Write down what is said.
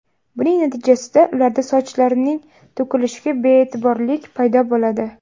Buning natijasida ularda sochlarining to‘kilishiga be’yetiborlik paydo bo‘ladi.